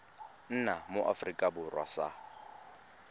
nna mo aforika borwa sa